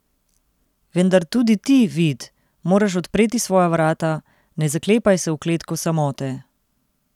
Vendar, tudi ti, Vid, moraš odpreti svoja vrata, ne zaklepaj se v kletko samote.